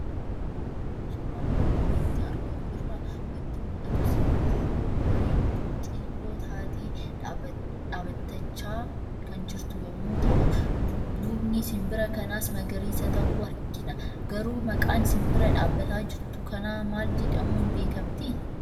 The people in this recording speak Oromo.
Suuraa armaan olitti argamu irraa waanti mul'atu; sibbirroo bareeddu xiilloo taate dhaabbatachaa kan jirtu yommuu ta'u, duubni sibira kanaas magariisa ta'u argina. Garuu maqaan sinbira dhaabbataa jirtu kanaa maal jedhamuun beekamtii?